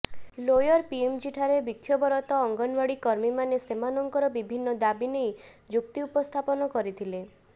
lower PMG ଠାରେ ବିକ୍ଷୋଭରତ ଅଙ୍ଗନୱାଡି କର୍ମୀ ମାନେ ସେମାନଙ୍କର ବିଭିନ୍ନ ଦାବି ନେଇ ଯୁକ୍ତି ଉପସ୍ଥାପନ କରିଥିଲେ